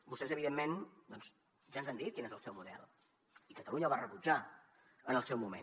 vostès evidentment doncs ja ens han dit quin és el seu model i catalunya el va rebutjar en el seu moment